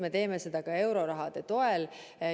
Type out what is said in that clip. Me teeme seda ka euroraha toel.